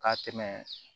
Ka tɛmɛ